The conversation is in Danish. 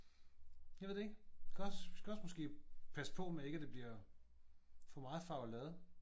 Jeg ved det ikke. Det kan også det kan også måske passe på med at det ikke bliver for meget farvelade